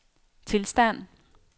tilstand